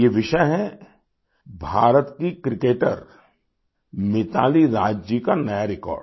ये विषय है भारत की क्रिकेटर मिताली राज जी का नया record